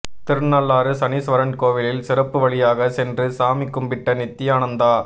திருநள்ளாறு சனீஸ்வரன் கோவிலில் சிறப்பு வழியாக சென்று சாமி கும்பிட்ட நித்தியானந்தா